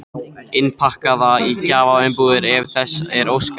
Innpakkaða í gjafaumbúðir ef þess er óskað.